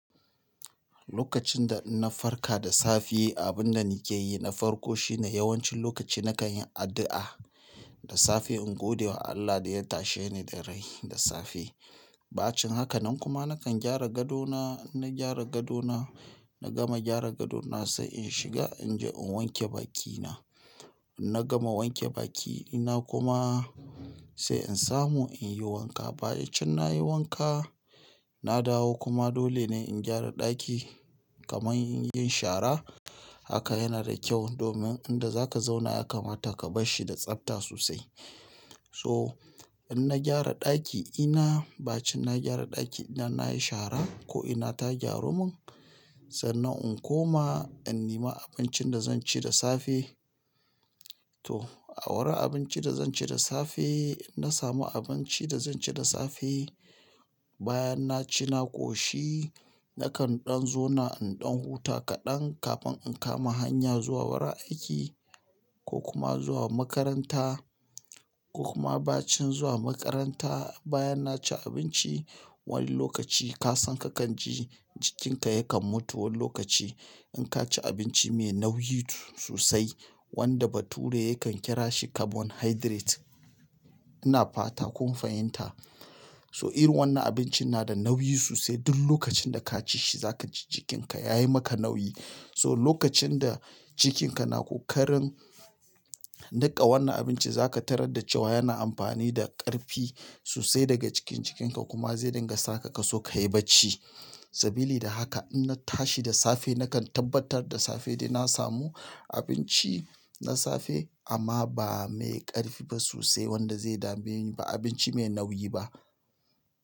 Lokacin da na farka da safe, abin da nake yi, na farko shine yawancin lokaci nakan yi addu'a da safe in gode wa Allah da ya tashe ni da rai da safe. Ba cin haka nan kuma nakan gyara gado na, in na gyara gado na, na gama gyara gado na sai in shiga in je in wanke bakina. Na gama wanke baki ina kuma sai in samu in yi wanka. Bayancin nayi wanka, na dawo kuma dole ne in gyara ɗaki kamar in yi shara. Haka yana da kyau domin inda zaka zauna ya kamata ka bar shi da tsafta sosai. So, in na gyara ɗaki ina, bacin na gyara ɗaki ina nayi shara, ko ina ta gyaru mun, sannan in koma in nima abincin da zan ci da safe, to, a wurin abinci da zan ci da safe, na samu abinci da zan ci da safe. Bayan na ci na ƙoshi, nakan ɗan zauna in ɗan huta kaɗan kafin in kama hanya zuwa wurin aiki ko kuma zuwa makaranta ko kuma bacin zuwa makaranta, bayan na ci abinci, wani lokaci ka san kakan ji jikinka yakan mutu wani lokaci, in ka ci abinci mai nauyi sosai, wanda bature yakan kira shi carbohydrate. Ina fata kun fahimta. So irin wannan abincin yana da nauyi sosai, duk lokacin da ka ci shi zaka ji cikinka yayi maka nauyi. So, lokacin da cikin ka na ƙokarin niƙa wannan abincin, zaka tarar da cewa yana amfani da ƙarfi sosai daga cikin jikinka, kuma zai dinga saka kaso ka yi bacci. Sabili da haka, in na tashi da safe nakan tabbatar da safe dai na samu abinci, na safe amma ba mai ƙarfi ba sosai, wanda zai dame ni ba abinci mai nauyi ba.